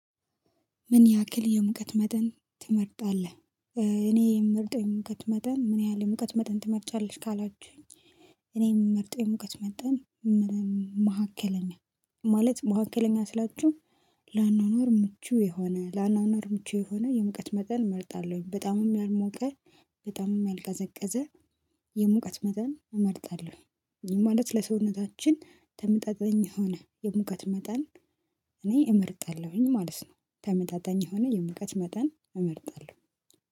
ምን ያክል የሙቀት መጠን ትመርጣለህ? እኔ የምመርጠው የሙቀት መጠን ምን ያህል የሙቀት መጠን ትመርጫለሽ ካላችሁኝ? እኔ የምመርጠው የሙቀት መጠን መካከለኛ። ማለት መካከለኛ ስላችሁ ለአኗኗር ምቹ የሆነ ለአኗኗር ምቹ የሆነ የሙቀት መጠን እመርጣለሁኝ። በጣምም ያልሞቀ በጣምም ያልቀዘቀዘ። የሙቀት መጠን እመርጣለሁ። ይህም ማለት ለሰውነታችን ተመጣጣኝ ሆነ የሙቀት መጠን። እኔ እመርጣለሁኝ ማለት ነው ተመጣጣኝ የሆነ የሙቀት መጠን እመርጣለሁ